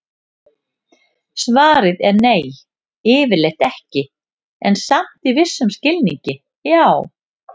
Svarið er nei, yfirleitt ekki, en samt í vissum skilningi já!